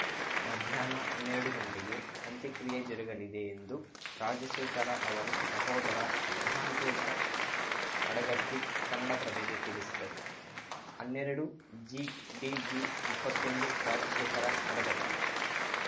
ಮಧ್ಯಾಹ್ನ ಹನ್ನೆರಡು ಗಂಟೆಗೆ ಅಂತ್ಯಕ್ರಿಯೆ ಜರುಗಲಿದೆ ಎಂದು ರಾಜಶೇಖರ ಅವರು ಸಹೋದರ ಮಹಾಂತೇಶ ಅಡಗತ್ತಿ ಕನ್ನಡಪ್ರಭಕ್ಕೆ ತಿಳಿಸಿದರು ಹನ್ನೆರಡುಜಿಡಿಜಿಇಪ್ಪತ್ತೊಂದು ರಾಜಶೇಖರ ಅಡಗತ್ತಿ